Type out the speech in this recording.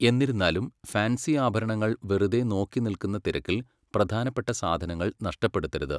എന്നിരുന്നാലും, ഫാൻസി ആഭരണങ്ങൾ വെറുതെ നോക്കിനിൽക്കുന്ന തിരക്കിൽ പ്രധാനപ്പെട്ട സാധനങ്ങൾ നഷ്ടപ്പെടുത്തരുത്.